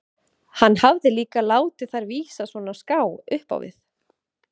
Hann hafði líka látið þær vísa svona á ská upp á við.